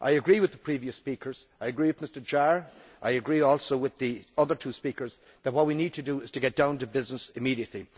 I agree with the previous speakers, I agree with Mr Jahr, I agree also with the other two speakers, that what we need to do is to get down to business immediately.